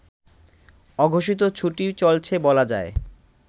অঘোষিত ছুটি চলছে বলা যায়